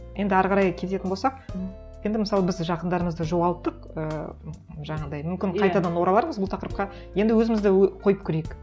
енді әрі қарай кететін болсақ енді мысалы біз жақындарымызды жоғалттық ыыы жаңағындай мүмкін қайтадан оралармыз бұл тақырыпқа енді өзімізді қойып көрейік